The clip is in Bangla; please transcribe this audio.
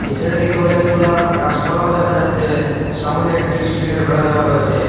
নীচের দিকে অনেকগুলা গাসপালাও দেখা যাচ্ছে সামনে একটি স্টিলের বেড়া দেওয়া রয়েসে।